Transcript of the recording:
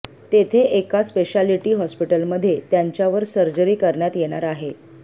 तेथे एका स्पेशालिटी हॉस्पिटलमध्ये त्यांच्यावर सर्जरी करण्यात येणार आहे